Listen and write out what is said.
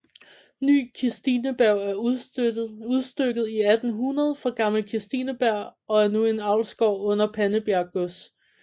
Ny Kirstineberg er udstykket i 1800 fra Gammel Kirstineberg og er nu en avlsgård under Pandebjerg Gods